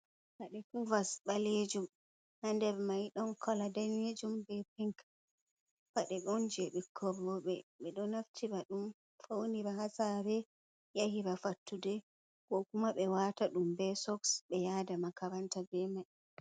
Paɗe kovers ɓalejum ha nder mai don kolo danejum be pink. Paɗe on je ɓikkon roɓe. Ɓeɗo naftira ɗum faunira ha sare, yahira fattude, ko kuma ɓe wata ɗum be soks be yada makaranta be mai.